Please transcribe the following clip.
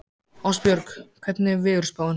Ástbjörg, hvernig er veðurspáin?